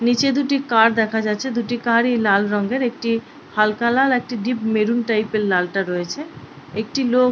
নিচে দুটি কার দেখা যাচ্ছে । দুটি কার - ই লাল রঙয়ের ।একটি হালকা লাল একটি ডিপ মেরুন টাইপ -এর লালটা রয়েছে। একটি লোক--